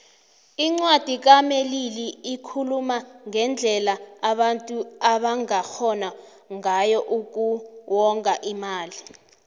incwadi kamelili ikhuluma ngendlela abantu abangarhona ngayo uku wonga imali